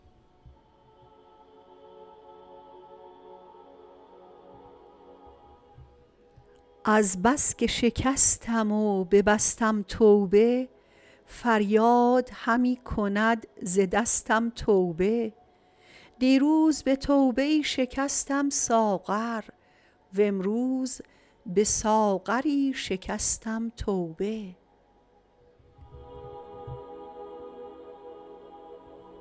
از بس که شکستم و ببستم توبه فریاد همی کند ز دستم توبه دیروز به توبه ای شکستم ساغر و امروز به ساغری شکستم توبه